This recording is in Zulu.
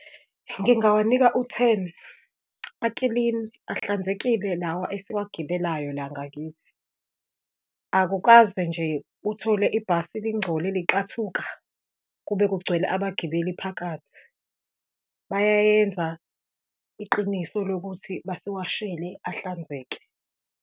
Ngingawanika u-ten, aklini, ahlanzekile lawa esiwagibelayo la ngakithi. Akukaze nje uthole ibhasi lingcole lixathuka kube kugcwele abagibeli phakathi, bayayenza iqiniso lokuthi basiwashele, ahlanzeke.